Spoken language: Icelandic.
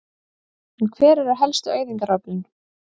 En hver eru helstu eyðingaröflin?